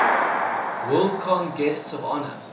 worldcon guests of honor